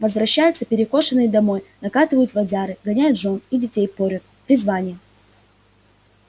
возвращаются перекошенные домой накатывают водяры гоняют жён и детей порют призвание